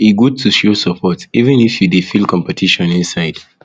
e good to show support even if you dey feel competition inside